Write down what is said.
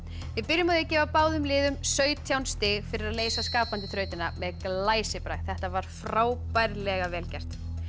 við byrjum á að gefa báðum liðum sautján stig fyrir að leysa skapandi þrautina með glæsibrag þetta var frábærlega vel gert